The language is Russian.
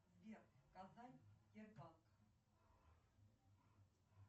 какие примеры игроков модернистов в шахматах можно привести